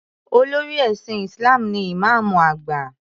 Olórí ẹ̀sìn Isalm ni Ìmáàmù àgbà.